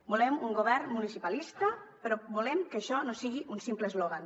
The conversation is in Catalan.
volem un govern municipalista però volem que això no sigui un simple eslògan